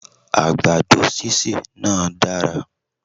Àgbàdo sísè náá dára